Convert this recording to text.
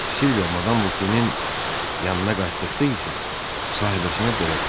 Silviya madam Vokenin yanına qayıtdıqda isə sahibəsinə belə dedi: